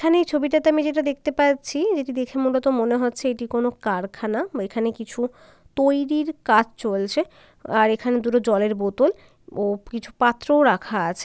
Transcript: এখানে এই ছবিটাতে আমি যেটা দেখতে পাচ্ছি যেটি দেখে মূলত মনে হচ্ছে এটি কোন কারখানা বা এখানে কিছু তৈরীর কাজ চলছে । আর এখানে দুটো জলের বোতল ও কিছু পাত্রও রাখা আছে।